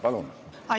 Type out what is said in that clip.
Palun!